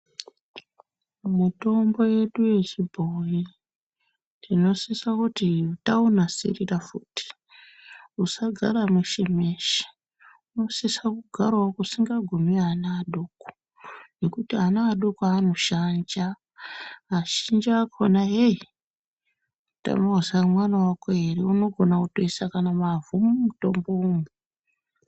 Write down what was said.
Mitombo yedu yechibhoyi tinosisa kuti taunasirira futhi usagara mweshe mweshe unosisa kugarawo kusingagumi ana adoko ngekuti ana adoko anoshanja azhinji akhona yei unotama kuziya kuti mwana wako ere unogona kutoisa kana mavhu mumutombomwo.